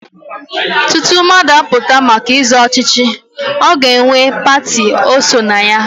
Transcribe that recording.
Tutu mmadụ apụta maka ịzọ ọchịchị, ọ ga-enwe pati o so na ya.